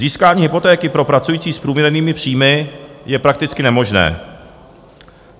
Získání hypotéky pro pracující s průměrnými příjmy je prakticky nemožné.